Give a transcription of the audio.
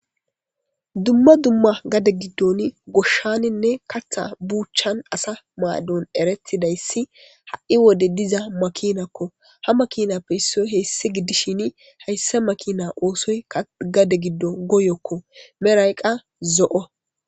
Dumma dumma gade giddon goshshaninne katha buuchan asa maadon eretidayssi ha7i wode diza makinakko ha makinappe hissoy heyssi giddishin hayssa makina oosoy gade giddo goyokko merayqqa zo7o.